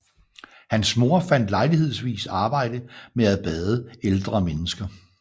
Hans mor fandt lejlighedsvis arbejde med at bade ældre mennesker